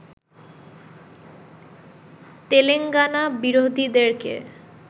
Telangana বিরোধীদেরকে